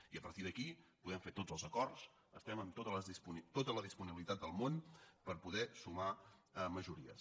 i a partir d’aquí podem fer tots els acords estem amb tota la disponibilitat del món per poder sumar majories